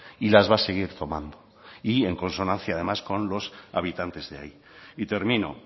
y las va a seguir tomando y en consonancia además con los habitantes de ahí y termino